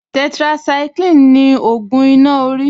Tetracycline ni ògùn iná orí